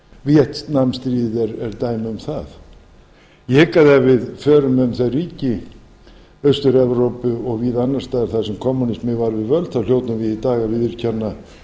víetnam stríðið er dæmi um það ég hygg ef við förum um þau ríki austur evrópu og víða annars staðar þar sem kommúnisminn var við völd þá hljótum við í dag viðurkenna